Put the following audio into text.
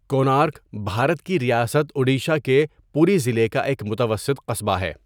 کونارک، بھارت کی ریاست اُڈیشہ کے پوری ضلع کا ایک متوسط قصبہ ہے۔